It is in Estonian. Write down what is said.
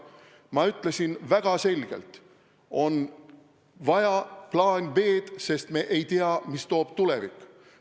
Ma ütlesin väga selgelt, et on vaja plaani B, sest me ei tea, mida toob tulevik.